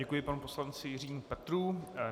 Děkuji panu poslanci Jiřímu Petrů.